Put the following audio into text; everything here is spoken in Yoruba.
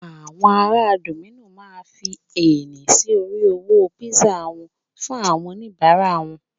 àwọn ará dominos ma fi ẹni sí orí owó pizza fún àwọn onibara wan